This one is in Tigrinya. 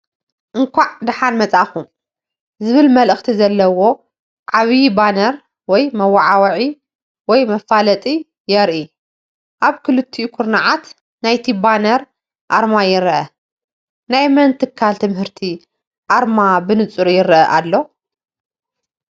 "እንቋዕ ደሓን መጻእኩም" ዝብል መልእኽቲ ዘለዎ ዓብይ ባነር ወይ መወዓውዒ ወይ መፋለጢ የርኢ፣ ኣብ ክልቲኡ ኩርናዓት ናይቲ ባነር ኣርማ ይረአ። ናይ መን ትካል ትምህርቲ ኣርማ ብንጹር ይረአ ኣሎ ?